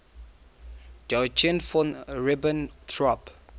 joachim von ribbentrop